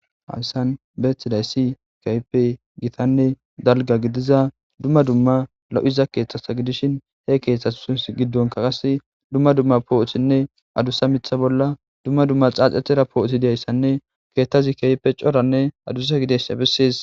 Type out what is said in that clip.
Haggani be'etiza issay, keehi gitanne dalgga gidiza, dumma dumma lo'iza keettata gidishin, he keettatusin giddon qassi dumma dumma puutenne adusa mitha bolla, dumma dumma tsatsetira puutidi aysanne, keettazi keehi coranne adusa gidiyasa bessaas.